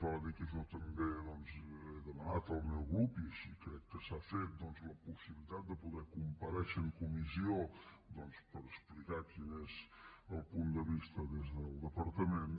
val a dir que jo també doncs he demanat al meu grup i així crec que s’ha fet la possibilitat de poder comparèixer en comissió per explicar quin és el punt de vista des del departament